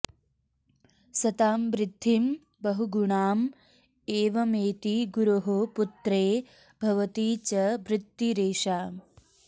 सतां वृद्धिं बहुगुणाम् एवमेति गुरोः पुत्रे भवति च वृत्तिरेषा